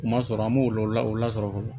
U ma sɔrɔ an b'o lɔ o lasɔrɔ fɔlɔ